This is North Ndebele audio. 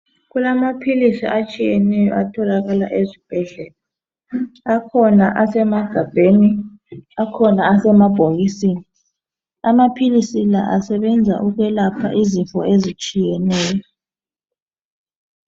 Kulamaphilisi atshiyeneyo atholakala ezibhedlela akhona asemagabheni, akhona asemabhokisini. Amaphilisi asebenza ukwelapha izifo ezitshiyeneyo.